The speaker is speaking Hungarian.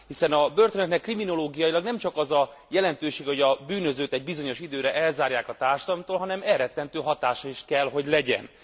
Hiszen a börtönöknek kriminológiailag nemcsak az a jelentősége, hogy a bűnözőt egy bizonyos időre elzárják a társadalomtól, hanem elrettentő hatása is kell, hogy legyen.